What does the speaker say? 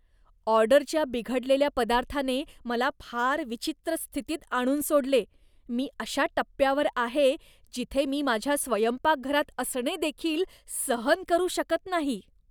ऑर्डरच्या बिघडलेल्या पदार्थाने मला फार विचित्र स्थितीत आणून सोडले. मी अशा टप्प्यावर आहे, जिथे मी माझ्या स्वयंपाकघरात असणे देखील सहन करू शकत नाही.